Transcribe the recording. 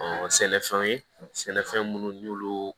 sɛnɛfɛnw ye sɛnɛfɛn munnu n'olu